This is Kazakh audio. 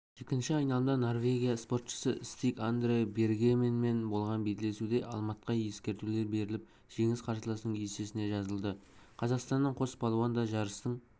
екінші айналымда норвегия спортшысы стиг андре бергеменмен болған белдесуде алматқа ескертулер беріліп жеңіс қарсыласының есесіне жазылды қазақстандық қос балуан да жарыстың